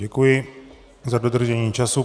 Děkuji za dodržení času.